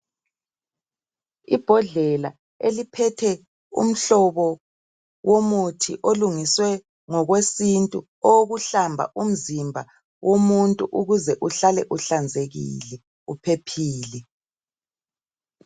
Ibhodlela eliphethe umhlobo womuthi olungiswe ngokwesintu owokuhlamba umzimba womuntu ukuze uhlale uhlanzekile uphephile